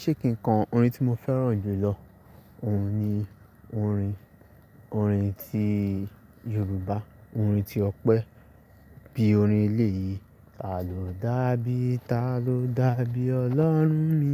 Ṣé kin kọ orin tí mo fẹ́ràn jùlọ, òun ni orin, orin ti Yorùbá, orin ti ọpẹ́ bí orin eléyi: ta ló dà bí, ta ló dà bí ọlọ́run mi,